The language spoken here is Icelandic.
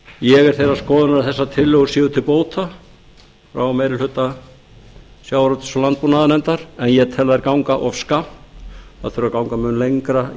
ég er þeirrar skoðunar að þessar tillögur séu til bóta frá meiri hluta sjávarútvegs og landbúnaðarnefndar en ég tel þær ganga of skammt það þurfi að ganga mun lengra